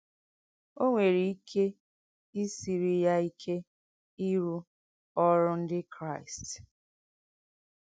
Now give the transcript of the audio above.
O nwèrè ìké ìsìrì yà ìkè ìrụ́ ọ́rụ́ Ndí Kráìst.